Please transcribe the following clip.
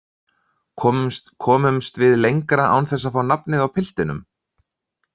Komust við lengra án þess að fá nafnið á piltinum?